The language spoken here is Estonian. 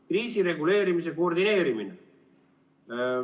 – kriisireguleerimise koordineerimine.